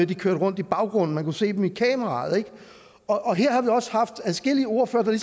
de kørte rundt i baggrunden man kunne se dem gennem kameraet og her har vi også haft adskillige ordførere